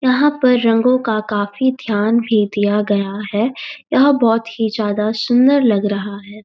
यहाँ पर रंगों का काफी ध्यान भी दिया गया है यह बहुत ही ज्यादा सुंदर लग रहा है।